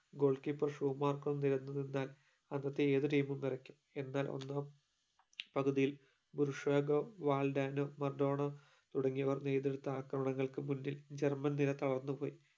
goal keeper ഷോ മാർകോ നിറഞ്ഞു നിന്നാൽ അകത്തെ ഏതു Team ഉം വിറക്കും എന്നാൽ ഒന്നോ പകുതിയിൽ പ്രഷോഗോ വാൽഡേണോ മറഡോണ തുടങ്ങിയവർ നേരിട്ടിരുന്ന ആക്രമങ്ങൾക്കു മുന്നിൽ ജർമൻ തീരെ തളർന്നു പോയി